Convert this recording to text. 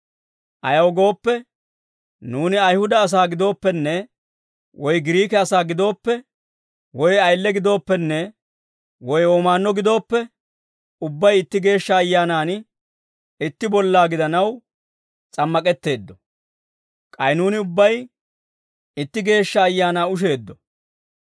Ayaw gooppe, nuuni Ayihuda asaa gidooppenne woy Giriike asaa gidooppe, woy ayile gidooppenne woy womaanno gidooppe, ubbay itti Geeshsha Ayyaanaan itti bollaa gidanaw s'ammak'etteeddo. K'ay nuuni ubbay itti Geeshsha Ayaanaa usheeddo.